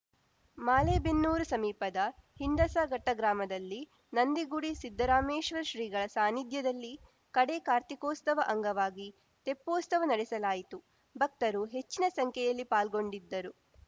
ಮಾಯಾಲೇಬೆನ್ನೂರು ಸಮೀಪದ ಹಿಂಡಸಗಟ್ಟಗ್ರಾಮದಲ್ಲಿ ನಂದಿಗುಡಿ ಸಿದ್ದರಾಮೇಶ್ವರ ಶ್ರೀಗಳ ಸಾನ್ನಿಧ್ಯದಲ್ಲಿ ಕಡೇ ಕಾರ್ತಿಕೋಸ್ತವ ಅಂಗವಾಗಿ ತೆಪ್ಪೋಸ್ತವ ನಡೆಸಲಾಯಿತು ಭಕ್ತರು ಹೆಚ್ಚಿನ ಸಂಖ್ಯೆಯಲ್ಲಿ ಪಾಲ್ಗೊಂಡಿದ್ದರು